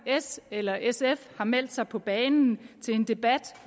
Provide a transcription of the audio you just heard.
s eller sf har meldt sig på banen til en debat